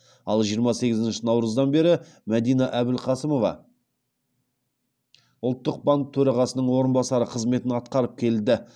ал жиырма сегізінші наурыздан бері мәдина әбілқасымова ұлттық банк төрағасының орынбасары қызметін атқарып келді